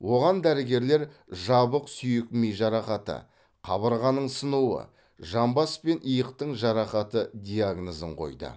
оған дәрігерлер жабық сүйек ми жарақаты қабырғаның сынуы жамбас пен иықтың жарақаты диагнозын қойды